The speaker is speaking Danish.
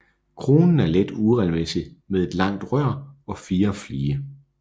Kronen er let uregelmæssig med et langt rør og 4 flige